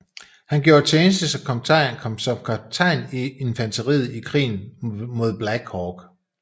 Han gjorde tjeneste som kaptajn i infanteriet i Krigen mod Black Hawk